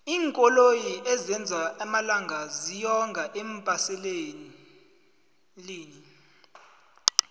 iinkoloyi ezenzwa amalangala ziyonga eembaselini